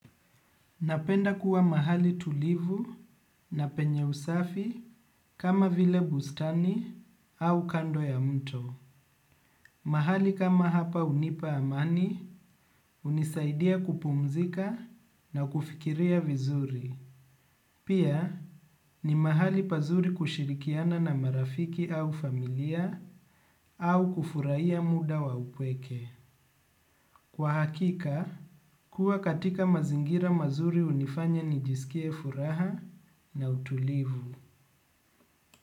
Napenda kuwa mahali tulivu na penye usafi kama vile bustani au kando ya mto. Mahali kama hapa hunipa amani hunisaidia kupumzika na kufikiria vizuri. Pia ni mahali pazuri kushirikiana na marafiki au familia au kufurahia muda wa upweke. Kwa hakika, kuwa katika mazingira mazuri hunifanya nijisikie furaha na utulivu.